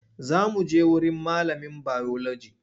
Za muje wurin malamin biology.